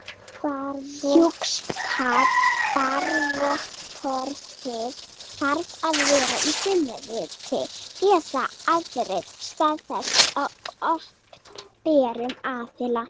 Hjúskaparvottorðið þarf að vera í frumriti eða afrit staðfest af opinberum aðila.